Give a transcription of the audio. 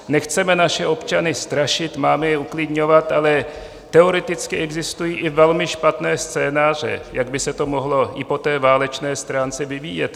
Nechceme naše občany strašit, máme je uklidňovat, ale teoreticky existují i velmi vážné scénáře, jak by se to mohlo i po té válečné stránce vyvíjet.